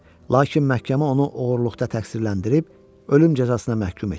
Lakin məhkəmə onu oğurluqda təqsirləndirib, ölüm cəzasına məhkum etmişdi.